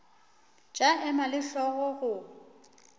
tša ema le hlogo go